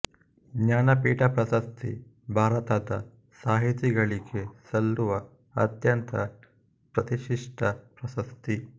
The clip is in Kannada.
ಜ್ಞಾನಪೀಠ ಪ್ರಶಸ್ತಿ ಭಾರತದ ಸಾಹಿತಿಗಳಿಗೆ ಸಲ್ಲುವ ಅತ್ಯಂತ ಪ್ರತಿಷ್ಟಿತ ಪ್ರಶಸ್ತಿ